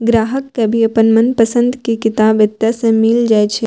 ग्राहक के भी अपन मनपसंद के किताब एते से मिल जाए छै।